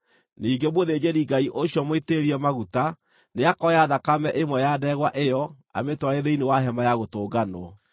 Ningĩ mũthĩnjĩri-Ngai ũcio mũitĩrĩrie maguta nĩakoya thakame ĩmwe ya ndegwa ĩyo amĩtware thĩinĩ wa Hema-ya-Gũtũnganwo.